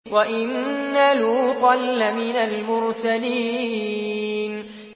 وَإِنَّ لُوطًا لَّمِنَ الْمُرْسَلِينَ